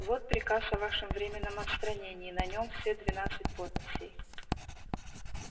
вот приказ о вашем временном отстранении на нем все двенадцать подписей